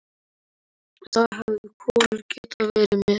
Þá hefði Kolur getað verið með.